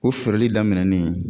U feereli daminɛnni